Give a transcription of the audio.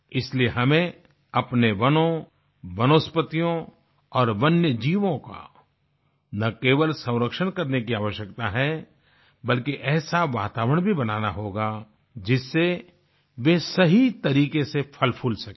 इसलिए हमें अपने वनों वनस्पतियों और वन्य जीवों का न केवल संरक्षण करने की आवश्यकता है बल्कि ऐसा वातावरण भी बनाना होगा जिससे वे सही तरीके से फलफूल सकें